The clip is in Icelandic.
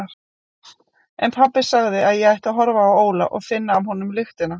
En pabbi sagði að ég ætti að horfa á Óla og finna af honum lyktina.